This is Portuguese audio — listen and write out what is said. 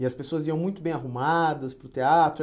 E as pessoas iam muito bem arrumadas para o teatro?